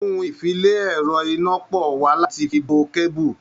Ohun-ìfi-le-ẹ̀rọ-iná-pọ̀ wà láti fi bo kẹ́bù.